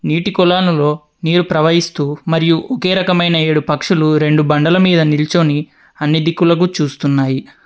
నీటి కొలనులో నీరు ప్రవహిస్తూ మరియు ఒకే రకమైన ఏడు పక్షులు రెండు బండల మీద నిల్చొని అన్ని దిక్కులకు చూస్తున్నాయి.